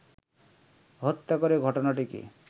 হত্যা করে ঘটনাটিকে